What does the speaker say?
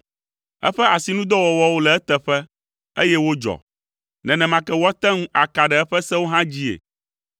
Eƒe asinudɔwɔwɔwo le eteƒe, eye wodzɔ; nenema ke woate ŋu aka ɖe eƒe sewo hã dzii,